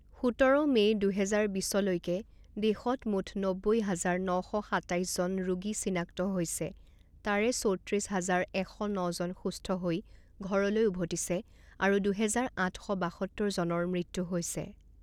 সোতৰ মে' দুহেজাৰ বিছলৈকে দেশত মুঠ নব্বৈ হাজাৰ ন শ সাতাইছ জন ৰোগী চিনাক্ত হৈছে তাৰে চৌত্ৰিছ হাজাৰ এশ ন জন সুস্থ হৈ ঘৰলৈ উভতিছে আৰু দুহেজাৰ আঠ শ বাসত্তৰ জনৰ ম়ত্যু হৈছে।